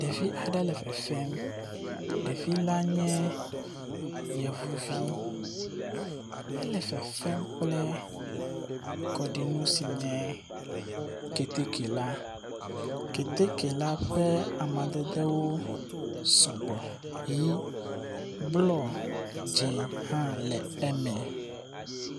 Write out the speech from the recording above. Ɖevi aɖe le fefem. Ɖevi la nye yevuvi. Ele fefem kple kɔɖinu si nye keteke la. Keteke la ƒe amadedewo sɔgbɔ. Ʋi, blɔ, dze hã le eme.